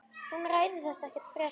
Hún ræðir þetta ekkert frekar.